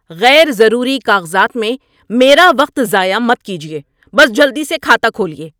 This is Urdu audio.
غیر ضروری کاغذات میں میرا وقت ضائع مت کیجیے۔ بس جلدی سے کھاتہ کھولیے!